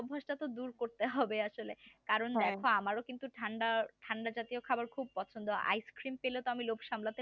এই অবস্থা দূর করতে হবে আসলে কারণ দেখো আমারও কিন্তু ঠান্ডা ঠান্ডা জাতীয় খাবার খুব পছন্দ ice cream পেলে তো আমি লোভ সামলাতে